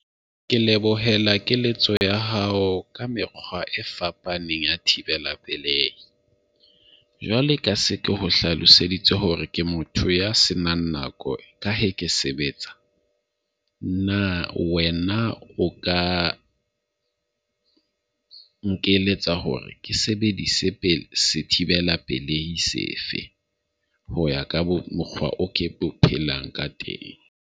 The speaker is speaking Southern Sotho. Ke lebohela keletso ya hao ka mekgwa e fapaneng ya thibela pelei. Jwale ka se ke o hlaloseditse hore ke motho ya senang nako ka he ke sebetsa. Na wena o ka nkeletsa hore ke sebedise pele sethibela pelei sefe ho ya ka mokgwa o ke phelang ka teng.